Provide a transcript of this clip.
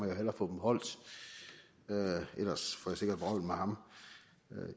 jeg hellere få dem holdt ellers får jeg sikkert vrøvl med ham